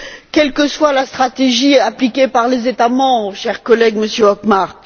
quelle que soit la stratégie appliquée par les États membres, cher collègue, Monsieur Hökmark.